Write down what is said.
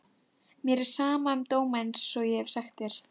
Mér er sama um dóma einsog ég hef sagt þér.